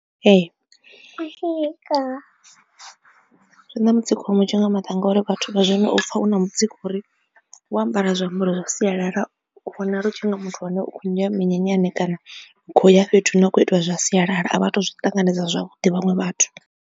Ee, zwi na mutsiko munzhi nga maanḓa ngauri vhathu vha zwino u pfha u na mutsiko uri wo ambara zwiambaro zwa sialala u vhonala u tshi nga muthu ane u kho ya minyanyani kana khou ya fhethu hune a khou itela zwa sialala a vha tu zwi ṱanganedza zwavhuḓi vhaṅwe vhathu.